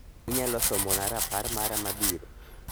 Inyalo somona rapar mara mabiro